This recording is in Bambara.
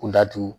Kundatu